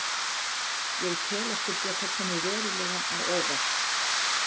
Ég tel okkur geta komið verulega á óvart.